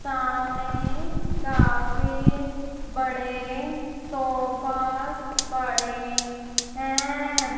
सामने काफी बड़े सोफास पड़े हैं।